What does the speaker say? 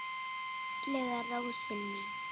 Fallega rósin mín.